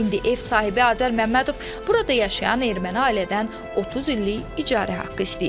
İndi ev sahibi Azər Məmmədov burada yaşayan erməni ailədən 30 illik icazə haqqı istəyir.